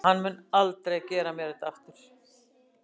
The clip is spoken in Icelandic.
Hann mun aldrei gera mér þetta aftur.